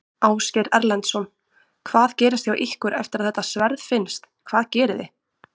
Ásgeir Erlendsson: Hvað gerist hjá ykkur eftir að þetta sverð finnst, hvað gerið þið?